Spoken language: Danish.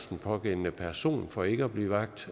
den pågældende person for ikke at blive vagt